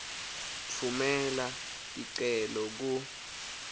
tfumela ticelo ku